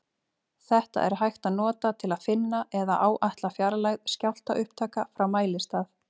Þetta er hægt að nota til að finna eða áætla fjarlægð skjálftaupptaka frá mælistað.